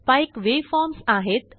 spike waveforms आहेत